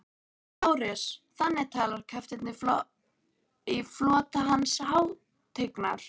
LÁRUS: Þannig talar kafteinn í flota Hans hátignar?